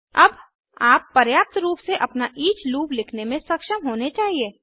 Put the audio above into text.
अब आप पर्याप्त रूप से अपना ईच लूप लिखने में सक्षम होने चाहिए